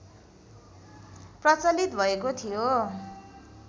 प्रचलित भएको थियो